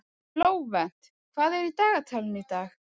Flóvent, hvað er í dagatalinu í dag?